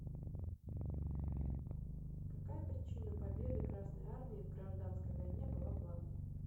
какая причина победы красной армии в гражданской войне была главной